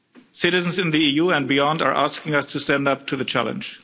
Citizens in the EU and beyond are asking us to stand up to the challenge.